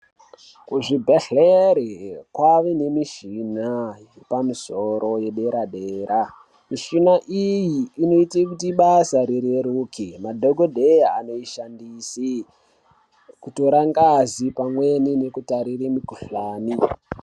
Kuzvibhehlere kwava nemishina yepamusoro yedera dera. Mishina iyi inoite kuti basa rireruke madhokodheye anoishandise kutora ngazi pamweni nokutarire mukohlani.